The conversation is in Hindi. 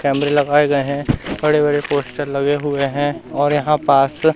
कैमरे लगाए गए है बड़े बड़े पोस्टर लगे हुए है और यहां पास--